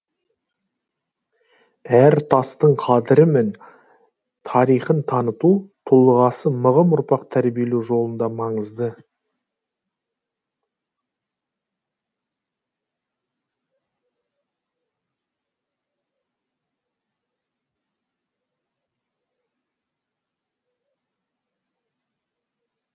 әр тастың қадірі мен тарихын таныту тұлғасы мығым ұрпақ тәрбиелеу жолында маңызды